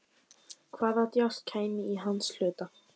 Hvaða djásn kæmi í hans hlut?